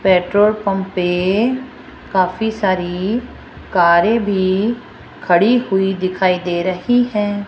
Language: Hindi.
पेट्रोल पंप पे काफी सारी कारें भी खड़ी हुई दिखाई दे रही हैं।